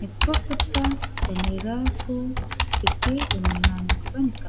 nikprotgipa janerako teke donenganikoba nikat--